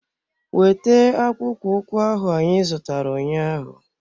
Wete akpụkpọ ụkwụ ahụ anyị zụtara ụnyaahụ!